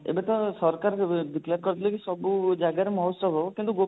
ଏବେ ତ ସରକାର declare କରିଦେଲେ କି ସବୁ ଜାଗାରେ ମହୋତ୍ସବ ହବ କିନ୍ତୁ